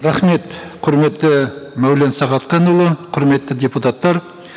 рахмет құрметті мәулен сағатханұлы құрметті депутаттар